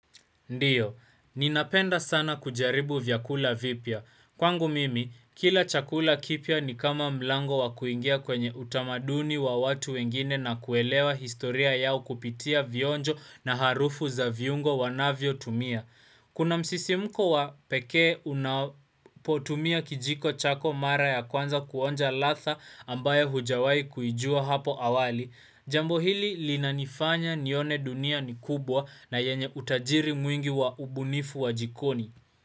Ndiyo, ninapenda sana kujaribu vyakula vipya. Kwangu mimi, kila chakula kipya ni kama mlango wa kuingia kwenye utamaduni wa watu wengine na kuelewa historia yao kupitia vionjo na harufu za viungo wanavyo tumia. Kuna msisimko wa pekee unapotumia kijiko chako mara ya kwanza kuonja ladha ambayo hujawahi kuijua hapo awali. Jambo hili linanifanya nione dunia ni kubwa na yenye utajiri mwingi wa ubunifu wa jikoni.